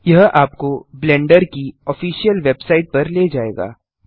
यह आपको ब्लेंडर की ऑफिसियल वेबसाइट पर ले जायेगा